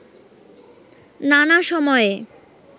নানা সময়ে